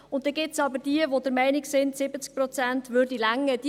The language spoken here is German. Dann gibt es jene, die der Meinung sind, 70 Prozent seien ausreichend.